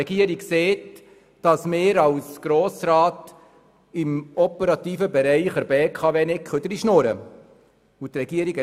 Diese sagt, dass wir als Grosser Rat nicht in den operativen Bereich der BKW dreinreden können.